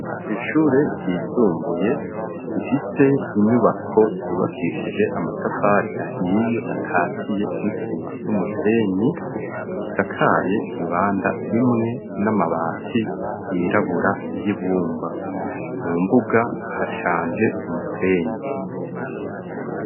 Kw'ishure ryisumbuye rifise inyubako zubakishije amatafari ahiye, akatiye n'isima n'umusenyi zisakaye ibanda imwe n'amabati yirabura y'ibumba. Mu mbuga hashanje umusenyi.